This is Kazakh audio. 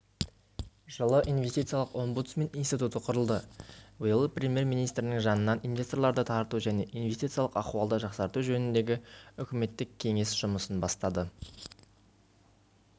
жылы инвестициялық омбудсмен институты құрылды биыл премьер-министрінің жанынан инвесторларды тарту және инвестициялық ахуалды жақсарту жөніндегі үкіметтік кеңес жұмысын бастады